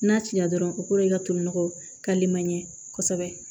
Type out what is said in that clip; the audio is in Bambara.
N'a cira dɔrɔn o kɔrɔ ye i ka to nɔgɔ kali manɲɛ kosɛbɛ